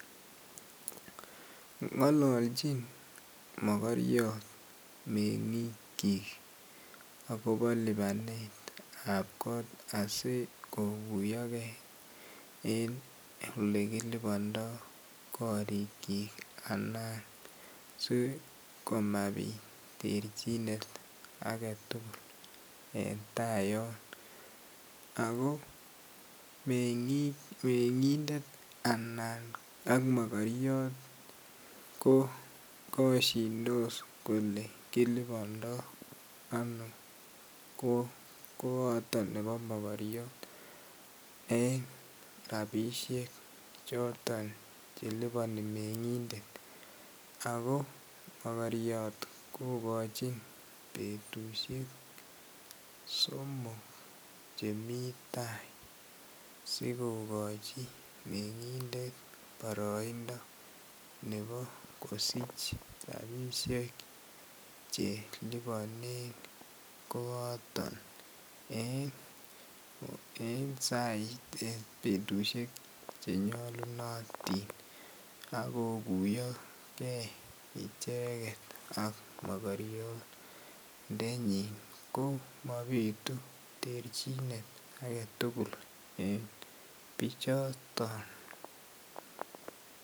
Ngololchin mokoryot mengikyik agobo lipanetap kot asi koguyo ge en Ole kilipondoi korikyik anan si komabit terchinet age tugul en tayon ago mengindet anan mokoryot ko kosyindos kole kilibando ano koato nebo mokoryot en rabisiek choton chelipani mengindet ago mogoriot kogochin betusiek somok chemi tai asi kogochi mengindet boroindo nebo kosich rabisiek Che liponen koato en betusiek Che nyolunotin ak koguiyo ge icheget ak mokoriondenyin ko mabitu terchinet age tugul en bichoto